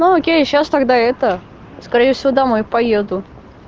ну окей я сейчас тогда это скорее всего домой поеду